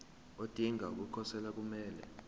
odinga ukukhosela kumele